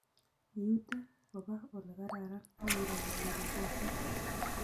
Iute koba olekararan akiroo ile ribotin